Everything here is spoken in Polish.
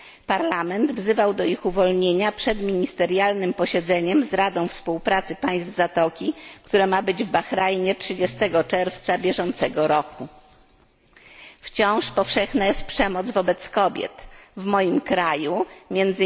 Parlament wzywał do ich uwolnienia przed ministerialnym posiedzeniem z Radą Współpracy Państw Zatoki, która ma się odbyć w Bahrajnie 30 czerwca bieżącego roku. Wciąż powszechna jest przemoc wobec kobiet, w moim kraju, m.